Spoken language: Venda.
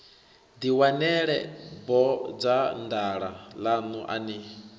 ḓiwanela bodzanḓala ḽaṋu a ni